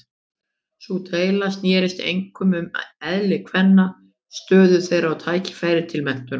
Sú deila snerist einkum um eðli kvenna, stöðu þeirra og tækifæri til menntunar.